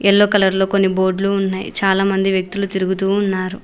Yellow colour లో కొన్ని బోర్డ్లు ఉన్నాయ్ చాలా మంది వ్యక్తులు తిరుగుతూ ఉన్నారు.